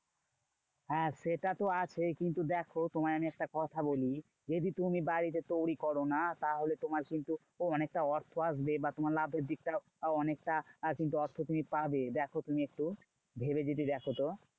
হ্যাঁ সেটা তো আছে কিন্তু দেখো তোমায় আমি একটা কথা বলি। যদি তুমি বাড়িতে তৈরী করো না? তাহলে তোমার কিন্তু অনেকটা অর্থ আসবে বা তোমার লাভের দিকটাও অনেকটা অর্থ কিন্তু পাবে। দেখো তুমি একটু ভেবে যদি দেখো তো,